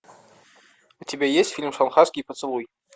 у тебя есть фильм шанхайский поцелуй